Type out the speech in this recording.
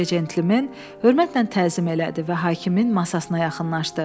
Qoca centlmen hörmətlə təzim elədi və hakimin masasına yaxınlaşdı.